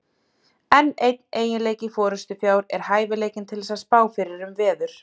Enn einn eiginleiki forystufjár er hæfileikinn til þess að spá fyrir um veður.